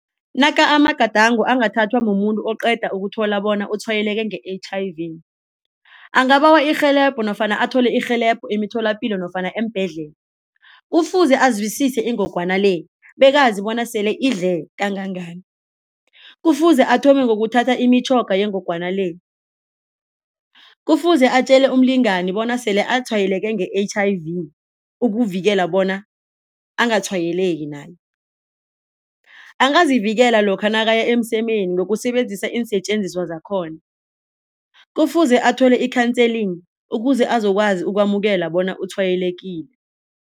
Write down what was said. Naka amagadango angathathwa mumuntu oqeda ukuthola bona utshwayeleke nge-H_I_V angabawa irhelebho nofana athole irhelebho emitholapilo nofana eembhedlela. Kufuze azwisise ingogwana le bekazi bona sele idle kangangani. Kufuze athome ngokuthatha imitjhoga yengogwana le. Kufuze atjele umlingani bona sele atshwayeleke nge-H_I_V ukuvikela bona angatshwayeleki naye. Angazivikela lokha nabaya emsemeni ngokusebenzisa iinsetjenziswa zakhona. Kufuze athole i-counseling ukuze azokwazi ukwamukela bona utshwayelekile.